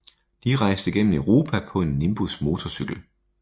De rejste gennem Europa på en Nimbus motorcykel